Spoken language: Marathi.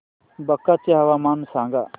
बांका चे हवामान सांगा